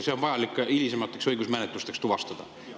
See on vaja hilisemateks õigusmenetlusteks tuvastada.